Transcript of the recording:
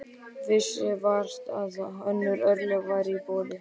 Vissi vart að önnur örlög væru í boði.